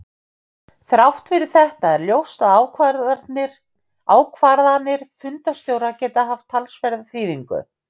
Þrátt fyrir þetta er ljóst að ákvarðanir fundarstjóra geta haft talsverða þýðingu.